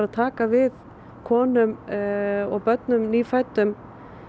að taka við konum og börnum nýfæddum